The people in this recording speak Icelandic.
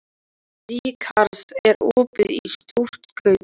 Hallkatla, hvenær kemur þristurinn?